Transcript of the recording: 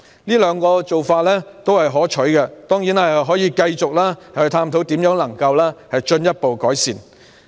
這兩個做法也是可取的，當然，當局可以繼續探討如何進一步作出改善。